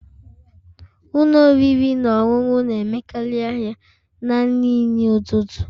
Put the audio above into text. Ụlọ oriri na ọṅụṅụ na-emekarị ahịa na nri nri ụtụtụ